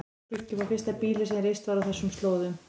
Skuggi var fyrsta býlið sem reist var á þessum slóðum.